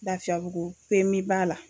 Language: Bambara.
Lafiyabugu pemiba la